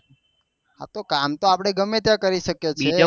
કામ તો આપળે ગમે ત્યાં કરી સકે